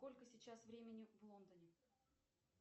сколько сейчас времени в лондоне